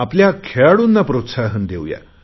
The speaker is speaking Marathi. आपल्या खेळाडूंना प्रोत्साहन देऊ या